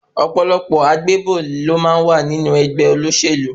Ọ̀pọ̀lọpọ̀ àgbébò ló má ń wà nínú ẹgbẹ́ olóṣèlú.